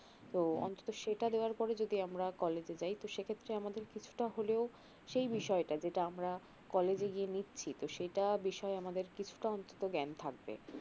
অন্তত সেটা দেওয়ার পরে যদি আমরা college যাই তো সে ক্ষেত্রে আমরা কিছুটা হলেও সেই বিষয়টা যেটা আমরা college গিয়ে নিচ্ছি তো সেটা বিষয়ে আমাদের কিছুটা অন্তত জ্ঞান থাকবে